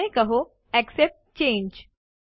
અને કહો accept change